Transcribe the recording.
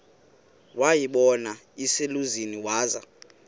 wayibona iselusizini waza